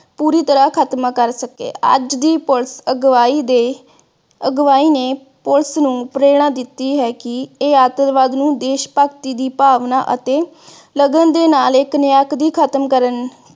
ਪੂਰੀ ਤਰਾਹ ਖਾਤਮਾ ਕਰ ਸਕੇ ਅੱਜ ਦੀ police ਅਗਵਾਈ ਦੇ ਅਗਵਾਈ ਨੇ police ਨੂੰ ਪ੍ਰੇਰਨਾ ਦਿਤੀ ਹੈ ਕਿ ਇਹ ਆਤੰਕਵਾਦ ਨੂੰ ਦੇਸ਼ ਭਗਤੀ ਦੀ ਭਾਵਨਾ ਅਤੇ ਲਗਨ ਦੇ ਨਾਲ ਇਕ ਇਕ ਖਤਮ ਕਰਨ